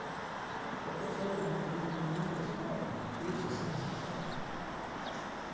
O professor me atendeu e tudo mais não sei o que, isso, assim, assim, assado.